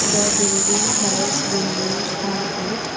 the building has windows on it.